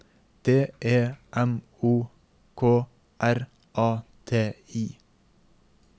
D E M O K R A T I